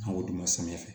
An k'o d'u ma samiyɛ fɛ